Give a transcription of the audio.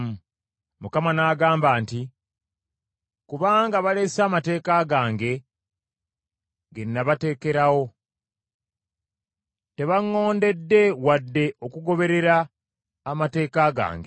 Mukama n’agamba nti, “Kubanga balese amateeka gange, ge nabateekerawo. Tebaŋŋondedde wadde okugoberera amateeka gange.